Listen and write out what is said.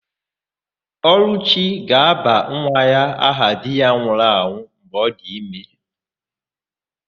Ọlụchi ga-aba nwa ya aha di ya nwụrụnụ mgbe ọ dị ime.